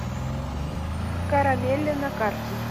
карамелле на карте